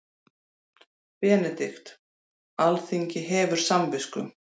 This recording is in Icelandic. BENEDIKT: Alþingi hefur samvisku.